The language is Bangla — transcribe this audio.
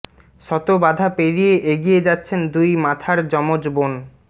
শত বাধা পেরিয়ে এগিয়ে যাচ্ছেন দুই মাথার যমজ বোন